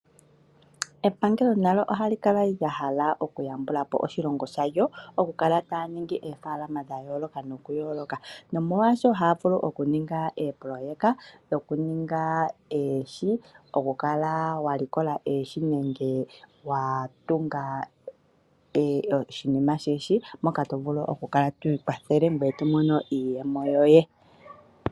Epangelo nalyo ohali kala lya hala okuyambula po oshilongo shalyo okukala taya ningi oofaalama dha yoolokathana, nomolwashoka ohaya vulu okuninga oopoloyeka dhokutekula oohi, okukala wa ninga oohi nenge wa tunga oshikunino shoohi moka to vulu okukala twi ikwathele ngoye to mono iiyemo yoye.